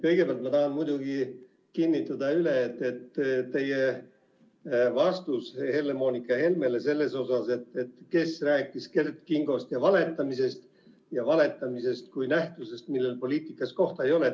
Kõigepealt ma tahan muidugi kinnitada üle teie vastuse Helle-Moonika Helmele selle kohta, kes rääkis Kert Kingost ja valetamisest ja valetamisest kui nähtusest, millel poliitikas kohta ei ole.